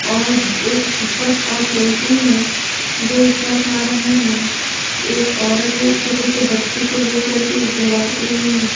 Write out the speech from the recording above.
और एक पिकअप और टेंपो है जो इस तरफ आ रहा है एक औरत एक छोटे से बच्चे को लेकर के एक झोला पकड़ी हुई है।